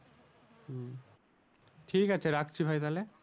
ঠিক আছে রাখছি ভাই তাহলে